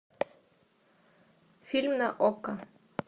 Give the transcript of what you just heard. фильм на окко